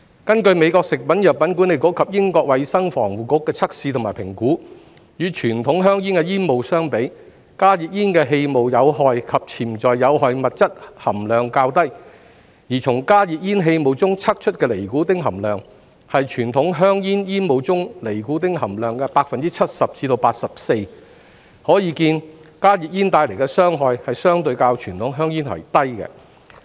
根據美國食品及藥物管理局及英國衞生防護局的測試及評估，與傳統香煙的煙霧相比，加熱煙氣霧的有害及潛在有害物質含量較低；而從加熱煙氣霧中測出的尼古丁含量，是傳統香煙煙霧中尼古丁含量的 70% 至 84%， 可見加熱煙帶來的傷害相對較傳統香煙為低。